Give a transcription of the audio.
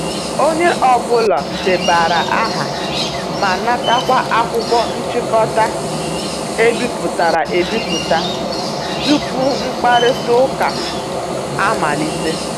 Onye ọ bụla debanyere aha ma natakwa akwụkwọ nchịkọta e bipụtara e biputa tupu mkpakorịta ụka amalite.